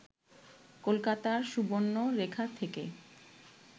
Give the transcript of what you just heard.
কলকাতার সুবর্ণ রেখা থেকে